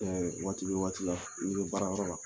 Waati ni bɛ waati la i bɛ ka baarayɔrɔ la.